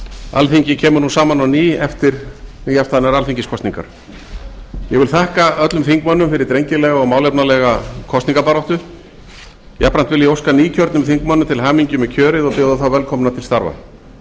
alþingi kemur nú saman á ný eftir nýafstaðnar alþingiskosningar ég vil þakka öllum þingmönnum fyrir drengilega og málefnalega kosningabaráttu jafnframt vil ég óska nýkjörnum þingmönnum til hamingju með kjörið og bjóða þá velkomna til starfa